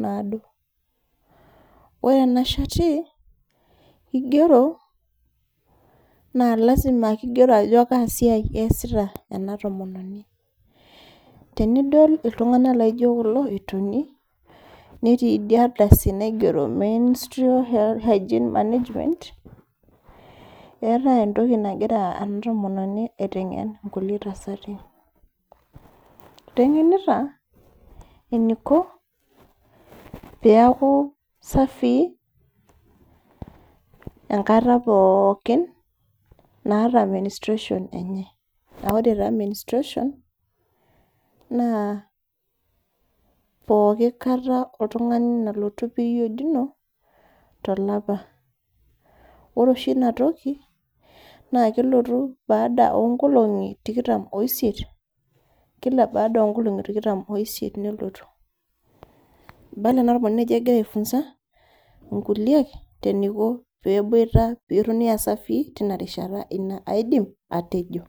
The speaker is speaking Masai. naado. Ore ena shati, kigero, na lasima kigero ajo kaa siai eesita ena tomononi. Tenidol iltung'anak laijo kulo etoni, netii idia ardasi naigero menstrual hygiene management, eetae entoki nagira ena tomononi aiteng'en nkulie tasati. Iteng'enita eniko, peku safii, enkata pookin naata menstruation enye. Ah ore taa menstruation, naa pooki kata oltung'ani nalotu period ino, tolapa. Ore oshi inatoki, naa kelotu baada onkolong'i tikitam oisiet, kila baada onkolong'i tikitam oisiet nelotu. Ibala ena tomononi ajo egira ai funza inkuliek eniko peboita petoni asafii, tinarishata. Ina aidim, atejo.